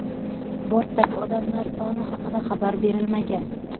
Bortdagi odamlar soni haqida xabar berilmagan.